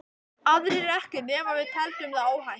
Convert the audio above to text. Aðrir ekki ekki nema við teldum það óhætt.